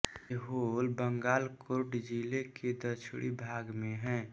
ऐहोल बागलकोट जिले के दक्षिणी भाग में है